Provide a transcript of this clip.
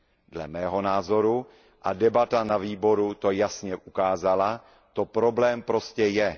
Dle mého názoru a debata na výboru to jasně ukázala to problém prostě je.